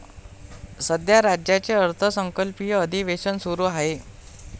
सध्या राज्याचे अर्थसंकल्पीय अधिवेशन सुरु आहे.